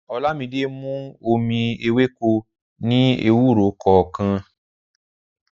Olámídé mú omi èwéko ní owurọ kọọkan